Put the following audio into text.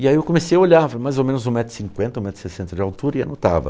E aí eu comecei a olhar, mais ou menos um metro e cinquenta, um metro e sessenta de altura e anotava.